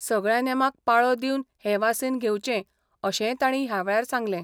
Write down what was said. सगळ्या नेमांक पाळो दिवन हे वासीन घेवचें अशेंय तांणी ह्या वेळार सांगलें.